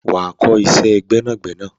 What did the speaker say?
Wà á kọ́ iṣẹ́ gbẹ́nàgbẹnà!